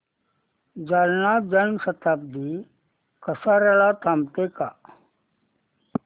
जालना जन शताब्दी कसार्याला थांबते का